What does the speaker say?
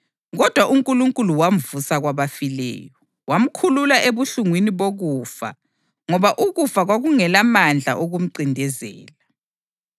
Kodwa uNkulunkulu wamvusa kwabafileyo, wamkhulula ebuhlungwini bokufa ngoba ukufa kwakungelamandla okumncindezela.